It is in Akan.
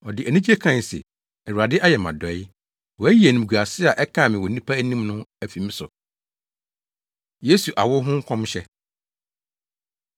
Ɔde anigye kae se, “Awurade ayɛ me adɔe. Wayi animguase a ɛkaa me wɔ nnipa anim no afi me so.” Yesu Awo Ho Nkɔmhyɛ